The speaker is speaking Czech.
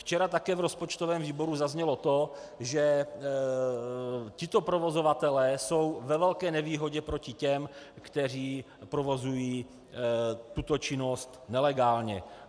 Včera také v rozpočtovém výboru zaznělo to, že tito provozovatelé jsou ve velké nevýhodě proti těm, kteří provozují tuto činnost nelegálně.